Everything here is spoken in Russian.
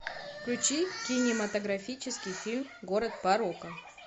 включи кинематографический фильм город порока